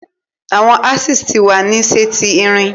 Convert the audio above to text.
Awọn axes ti wa ni ṣe ti irin